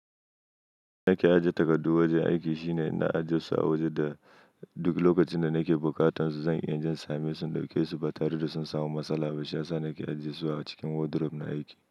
Na ke ajiye takardu wajen aiki, shine ina ajiye su a waje da duk lokacin da na ke bukatan su, zan iya in je in same su in dauƙe su ba tare da sun samu matsala ba. Shi yasa nake ajiye su a cikin wardrobe na aiki.